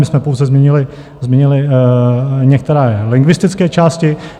My jsme pouze změnili některé lingvistické části.